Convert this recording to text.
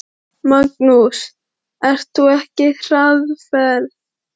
Magnús: Ert þú á hraðferð?